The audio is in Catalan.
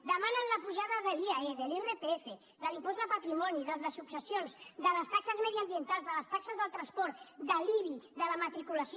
demanen la pujada de l’iae de l’irpf de l’impost de patrimoni del de successions de les taxes mediambientals de les taxes del transport de l’ibi de la matriculació